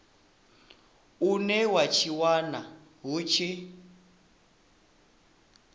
une wa tshinwa hu tshi